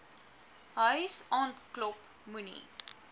huis aanklop moenie